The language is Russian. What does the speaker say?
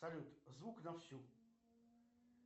салют звук на всю